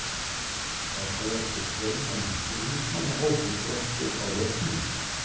Má búast við fjölmennum stuðningsmannahópi Gróttu á leiknum?